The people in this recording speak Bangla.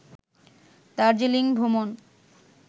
দার্জিলিং ভ্রমণ